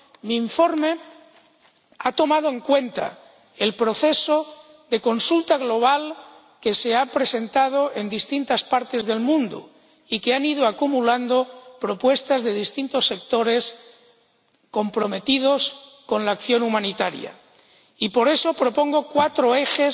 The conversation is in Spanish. mi informe ha tenido en cuenta el proceso de consulta global que se ha realizado en distintas partes del mundo y que ha ido acumulando propuestas de distintos sectores comprometidos con la acción humanitaria, y por eso propongo cuatro ejes